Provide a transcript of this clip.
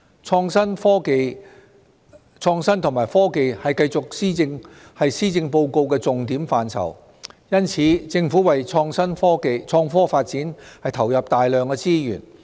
創新及科技繼續是施政報告的重點範疇，因此，政府為創科發展投入大量資源。